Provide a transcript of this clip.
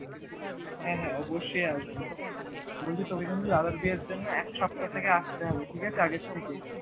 হ্যাঁ হ্যাঁ অবশ্যই আসবো, বলছি তুমি কিন্তু দাদার বিয়ের জন্য এক সপ্তাহ থেকে আসতে হবে ঠিক আছে আগে থেকে